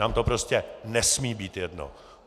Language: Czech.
Nám to prostě nesmí být jedno!